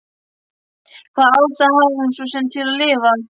Hvaða ástæðu hafði hún svo sem til að lifa?